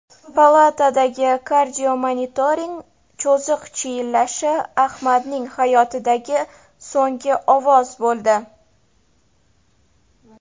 Palatadagi kardiomonitorning cho‘ziq chiyillashi Ahmadning hayotidagi so‘nggi ovoz bo‘ldi.